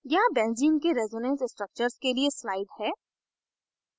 यहाँ benzene के resonance structures के लिए slide है